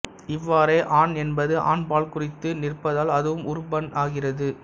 இவ்வாறே ஆன் என்பது ஆண்பால் குறித்து நிற்பதால் அதுவும் உருபன் ஆகிறது